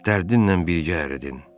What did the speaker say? Dərdinlə birgə əridin.